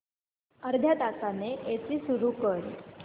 अर्ध्या तासाने एसी सुरू कर